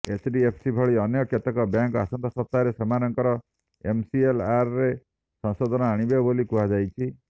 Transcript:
HDFC ଭଳି ଅନ୍ୟ କେତେକ ବ୍ୟାଙ୍କ ଆସନ୍ତା ସପ୍ତାହରେ ସେମାନଙ୍କ ଏମ୍ସିଏଲ୍ଆର୍ରେ ସଂଶୋଧନ ଆଣିବେ ବୋଲି କୁହାଯାଉଛି